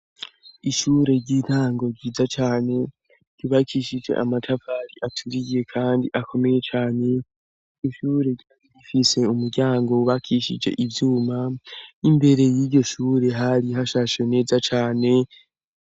Ishure ry'intango ryiza cane ryubakishije amatafari aturiye kandi akomeye cane ishure ryari rifise umuryango wubakishije ivyuma, imbere y'iryo shure hari hashashe neza cane.